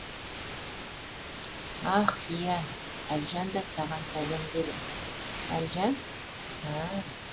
ах иә әлжан да саған сәлем деді әлжан ә